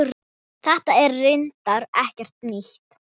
Þetta er reyndar ekkert nýtt.